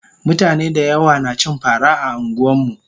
mutane dayawa nacin fara a anguwanmu